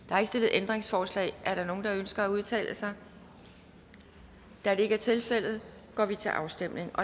ændringsforslag er der nogen der ønsker at udtale sig da det ikke er tilfældet går vi til afstemning